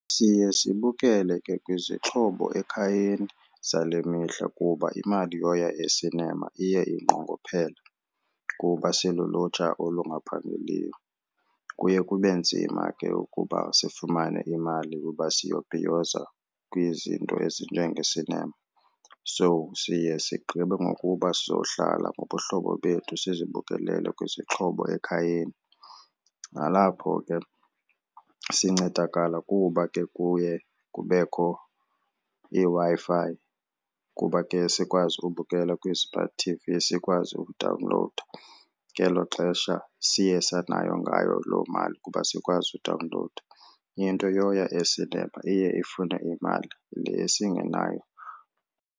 Siye sibukele ke kwizixhobo ekhayeni zale mihla kuba imali yoya esinema iye inqongophele kuba silulutsha olungaphangeliyo. Kuye kube nzima ke ukuba sifumane imali uba siyobhiyoza kwizinto ezinjengesinema. So siye sigqibe ngokuba sizohlala ngobuhlobo bethu sizibukelele kwizixhobo ekhayeni. Nalapho ke sincedakala kuba ke kuye kubekho iWi-Fi kuba ke sikwazi ukubukela kwi-smart T_V sikwazi ukudawunlowuda ngelo xesha siye sanayo ngayo loo mali kuba sikwazi udawunlowuda. Into yoya esinema iye ifune imali le singenayo.